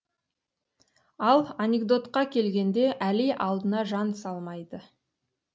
ал анекдотқа келгенде әли алдына жан салмайды